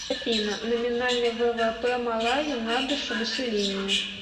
афина номинальный ввп малави на душу населения